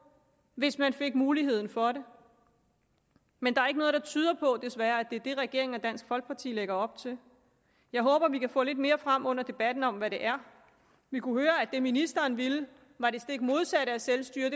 hvis man fik muligheden for det men der er ikke noget der tyder på desværre at det er det regeringen og dansk folkeparti lægger op til jeg håber at vi kan få lidt mere frem under debatten om hvad det er vi kunne høre at det ministeren ville var det stik modsatte af selvstyre